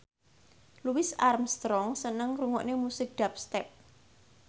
Louis Armstrong seneng ngrungokne musik dubstep